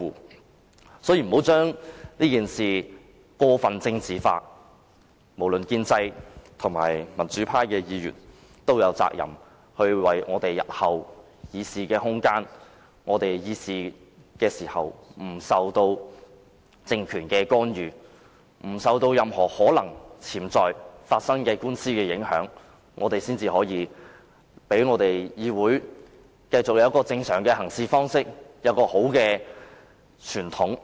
大家不要將這件事過分政治化，建制派還是民主派議員皆有責任捍衞我們日後的議事空間，讓我們在議事時不受政權干預，不受任何潛在官司影響，保持議會正常的行事方式和良好的傳統。